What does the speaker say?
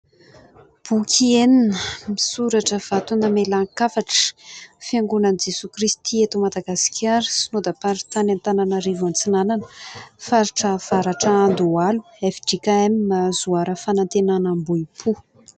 Boky enina misy soratra : "vato namelan-kafatra, Fiangonan'i Jesoa Kristy eto Madagasikara, Synodamparintany Antananarivo antsinanana, faritra avaratra Andohalo, FJKM Zoara Fanantenana Ambohipo".